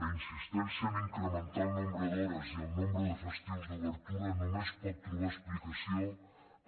la insistència a incrementar el nombre d’hores i el nombre de festius d’obertura només pot trobar explicació